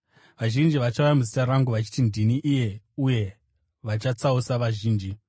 Vazhinji vachauya muzita rangu, vachiti, ‘Ndini iye,’ uye vachatsausa vazhinji.